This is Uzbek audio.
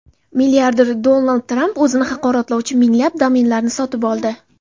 Milliarder Donald Tramp o‘zini haqoratlovchi minglab domenlarni sotib oldi.